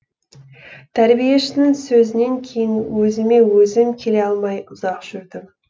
тәрбиешінің сөзінен кейін өзіме өзім келе алмай ұзақ жүрдім